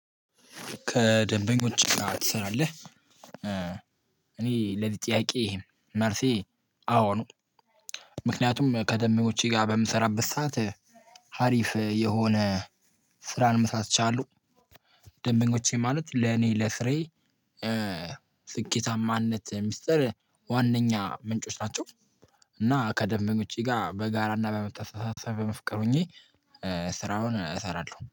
ከደንበኞች ጋራ ትሰራለህ? እኔ ለዚ ጥያቄ መልሴ አዎ ነው። ምክንያቱም ከደሜዎቹ ጋር በምሰራበት ሰዓት ሀሪፍ የሆነ ስራን መስራት ቻለሁ። ደንበኞቼ ማለት ለኔ ለስሬ ስኬታማነት ሚስጥር ዋናኛ ምንጮች ናቸው። እና ከደንብኝ ውጪ ጋር በጋራና በመታሰብ በመፍቅር ሆኜ ስራውን እሰራለሁ